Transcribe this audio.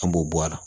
An b'o bɔ a la